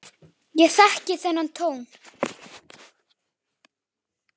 Ég þekki þennan tón.